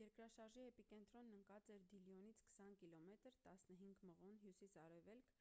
երկրաշարժի էպիկենտրոնն ընկած էր դիլյոնից 20 կմ 15 մղոն հյուսիս-արևելք